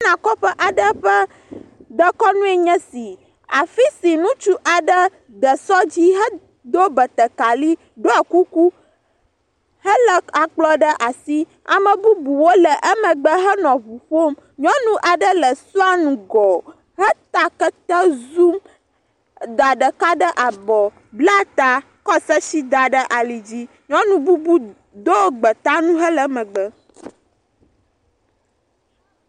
Kɔƒe aɖe ƒe dekɔnu enye esi, afi si ŋutsu aɖe de sɔ dzi, hedo batakeri, ɖɔ kuku helé akplɔ ɖe asi. Ame bubuwo le emegbe hele ŋu ƒom, nyɔnu aɖe le sɔa ŋgɔ heta kete zu, da ɖeka ɖe abɔ, bla ta, kɔ sesi da ɖe ali dzi, nyɔnu bubu do gbeta nu hele emegbe.